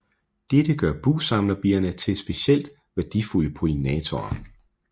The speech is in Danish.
Dette gør bugsamlerbierne til specielt værdifulde pollinatorer